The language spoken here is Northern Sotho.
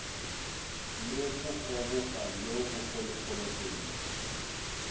le bogoboga bjo bogologolo pele